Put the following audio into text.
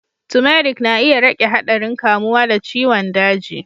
Turmeric na iya rage haɗarin kamuwa da ciwon daji.